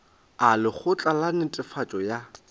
a lekgotla la netefatšo ya